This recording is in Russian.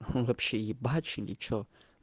он вообще ебачь или что